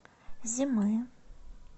зимы